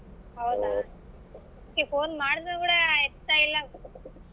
Okay phone ಮಾಡಿದ್ರೂ ಕೂಡ ಎತ್ತಾಯಿಲ್ಲ.